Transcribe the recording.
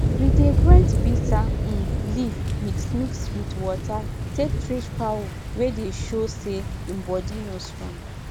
we dey grind bitter um leaf mix mix wit water take treat fowl wey dey sho say in body no strong